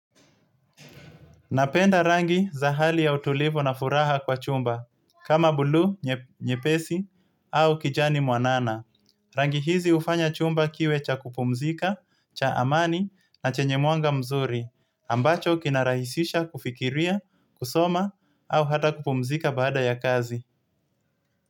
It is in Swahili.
Napenda rangi za hali ya utulivu na furaha kwa chumba, kama bulu, nyepesi, au kijani mwanana. Rangi hizi ufanya chumba kiwe cha kupumzika, cha amani na chenye mwanga mzuri, ambacho kinarahisisha kufikiria, kusoma, au hata kupumzika baada ya kazi.